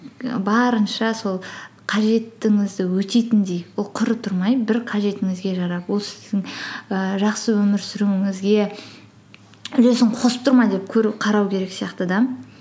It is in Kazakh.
барынша сол қажеттіңізді өтейтіндей ол құры тұрмай бір қажетіңізге жарап ол сіздің ііі жақсы өмір сүруіңізге үлесін қосып тұр ма деп қарау керек сияқты да